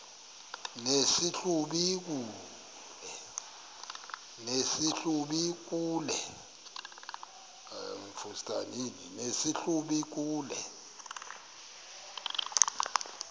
nesi hlubi kule